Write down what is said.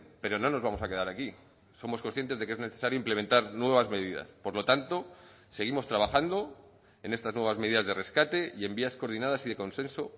pero no nos vamos a quedar aquí somos conscientes de que es necesario implementar nuevas medidas por lo tanto seguimos trabajando en estas nuevas medidas de rescate y en vías coordinadas y de consenso